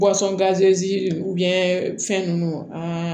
fɛn ninnu an